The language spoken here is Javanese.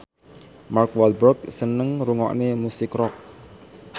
Mark Walberg seneng ngrungokne musik rock